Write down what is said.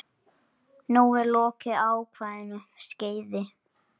Nú er lokið ákveðnu skeiði.